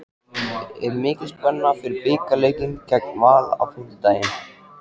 Er mikil spenna fyrir bikarleikinn gegn Val á fimmtudag?